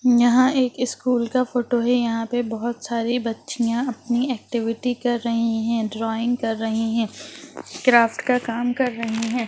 यहाँ एक स्कूल का फोटो है | यहाँ पे बहुत सारी बच्चियाँ अपनी एक्टिविटी कर रही हैं | ड्रॉइंग कर रही हैं | क्राफ्ट का काम कर रही हैं।